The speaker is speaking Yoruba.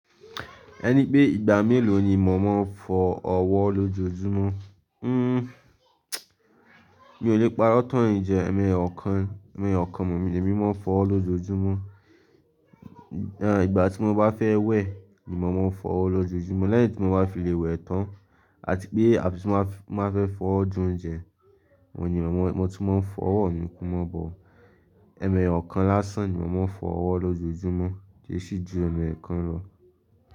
Ẹni pé ìgbà mélòó ni mọ máa ń fọ ọwọ́ lójoojúmọ́? Hmm mi ò lè parọ́ tán yiń jẹ ẹmẹ Ọ̀kan, ẹmẹ Ọ̀kan mọ̀ lemi máa ń fọ ọwọ́ lójoojúmọ́. Àn ìgbà tí mo bá fẹ́ wẹ̀ ni màá máa ń fọ ọwọ́ lójoojúmọ́. Lẹ́yìn tí mo bá fi lè wẹ̀ tán àti pé àfi tí má má fẹ fọwọ jẹ oúnjẹ, òun ni mo màá tún máa ń fọ ọwọ́ mí mọ̀ bọ̀. Ẹmẹ Ọ̀kan lásán ni mọ máa ń fọ ọwọ́ lójoojúmọ́, kì í sì ju ẹmẹ ẹ̀kan lọ.